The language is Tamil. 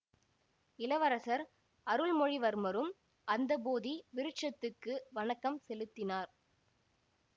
இளவரசர் அருள்மொழிவர்மரும் அந்த போதி விருட்சத்துக்கு வணக்கம் செலுத்தினார்